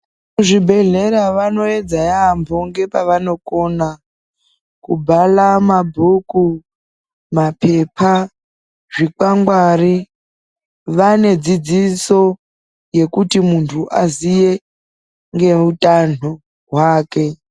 Vezvibhedhlera vanoyedza yaamho ngepevanokona, kubhara mabhuku, maphepha, zvikwangwari, vane dzidziso yekuti muntu aziye ngeutano hwake.